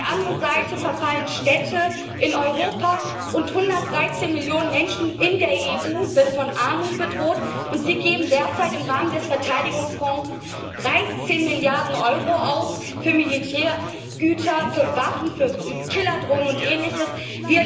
Auf der anderen Seite verfallen Städte in Europa und 113 Millionen Menschen in der EU sind von Armut bedroht, und Sie geben derzeit im Rahmen des Verteidigungsfonds 13 Milliarden Euro für Militärgüter, für Waffen, für Killerdrohnen und Ähnliches aus.